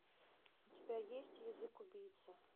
у тебя есть язык убийца